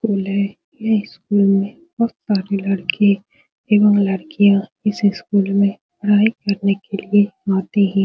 school है | यह school में बहुत सारे लड़के एवं लड़कियाँ इस स्कूल में पढाई करने के लिए आते हैं ।-